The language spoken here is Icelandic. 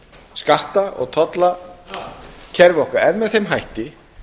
skatta og tollakerfi okkar er með þeim hætti